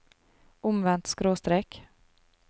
omvendt skråstrek